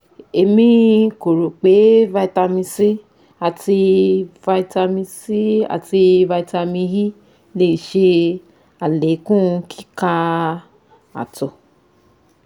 Emi ko ro pe Vitamin C ati Vitamin C ati Vitamin E le ṣe alekun kika ato